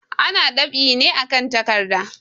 Ana dab'i ne akan takarda.